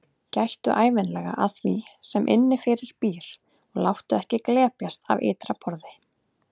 Gættu ævinlega að því sem innifyrir býr og láttu ekki glepjast af ytra borði.